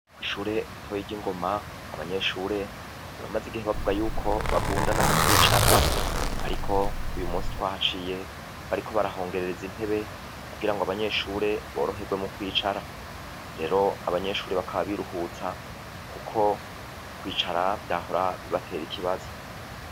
Kwishure ritoya ryingoma abanyeshure bari bribamaze igihe bavugako bagundana mukwicara ariko uyumunsi twahaciye bariko barahongerereza intebe kugira abanyeshure boroherwe mukwicara rero abanyeshure bakaba birubutsa kuko kwicara vyahora bibatera ikibazo